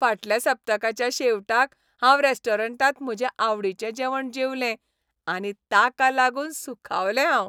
फाटल्या सप्तकाच्या शेवटाक हांव रेस्टॉरंटांत म्हजें आवडीचें जेवण जेवलें आनी ताका लागून सुखावलें हांव.